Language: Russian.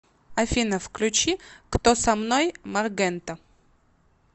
афина включи кто со мной маргента